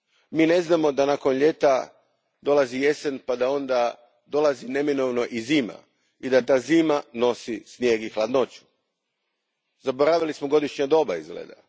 Mi ne znamo da nakon ljeta dolazi jesen pa da onda neminovno dolazi i zima i da ta zima nosi snijeg i hladnoću. Zaboravili smo godišnja doba, izgleda.